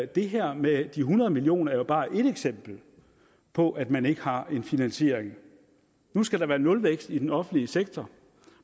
det her med de hundrede million kroner er jo bare ét eksempel på at man ikke har en finansiering nu skal der være nulvækst i den offentlige sektor